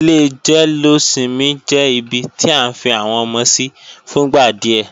Ilé jẹ́lósinmi jẹ́ ibi tí à ń fi àwọn ọmọ sí fúngbà díẹ̀